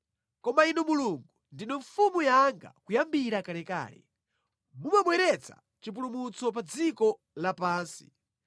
Koma Inu Mulungu, ndinu Mfumu yanga kuyambira kalekale; Mumabweretsa chipulumutso pa dziko lapansi.